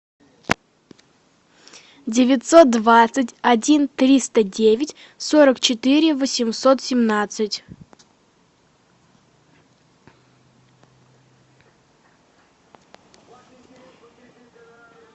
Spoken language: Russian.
девятьсот двадцать один триста девять сорок четыре восемьсот семнадцать